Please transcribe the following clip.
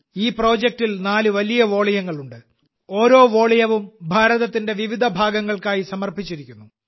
ഈ പ്രോജക്റ്റിൽ നാല് വലിയ വാല്യങ്ങളുണ്ട് ഓരോ വാല്യവും ഭാരതത്തിന്റെ വിവിധ ഭാഗങ്ങൾക്കായി സമർപ്പിച്ചിരിക്കുന്നു